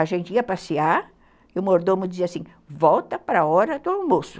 A gente ia passear e o mordomo dizia assim, volta para a hora do almoço.